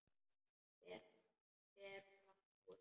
Fer fram úr.